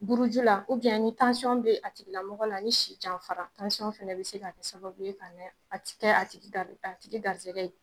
Buruju la, ni tansiɔn bɛ a tigilamɔgɔ la, ni si janfa la, tansiɔn fana bɛ se ka kɛ sababu ye tigi garisɛgɛ ye